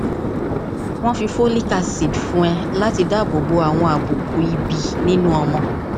wọn fi folic acid fún ọ láti dáàbò bo àwọn àbùkù ìbí nínú ọmọ